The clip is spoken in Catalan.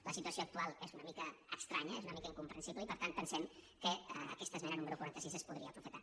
la situació actual és una mica estranya és una mica incomprensible i per tant pensem que aquesta esmena número quaranta sis es podria aprofitar